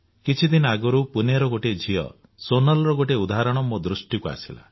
କିଛି ଦିନ ଆଗରୁ ପୁଣେର ଗୋଟିଏ ଝିଅ ସୋନାଲର ଗୋଟିଏ ଉଦାହରଣ ମୋ ଦୃଷ୍ଟିକୁ ଆସିଲା